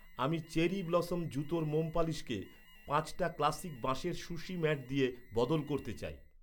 আমি cherry blossom জুতোর মোম পালিশকে, পাঁচটা ক্লাসিক বাঁশের সুশি ম্যাট দিয়ে বদল করতে চাই।